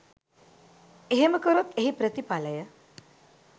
එහෙම කරොත් එහි ප්‍රථිඵලය